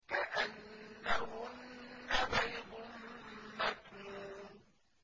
كَأَنَّهُنَّ بَيْضٌ مَّكْنُونٌ